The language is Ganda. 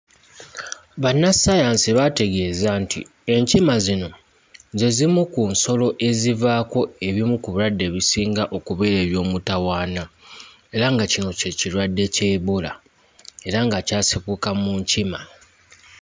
Bannassaayansi baategeeza nti enkima zino ze zimu ku nsolo ezivaako ebimu ku birwadde ebisinga okubeera eby'omutawaana, era nga kino ky'ekirwadde kya Ebola, era nga kyasibuka mu nkima.